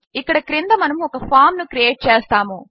ఇక్కడ క్రింద మనము ఒక ఫామ్ ను క్రియేట్ చేస్తాము